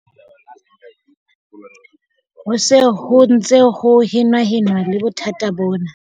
Ho se ho ntse ho henahenanwa le bothata bona.